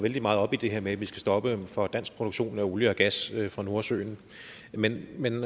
vældig meget op i det her med at vi skal stoppe for dansk produktion af olie og gas fra nordsøen men men